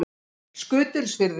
Skutulsfirði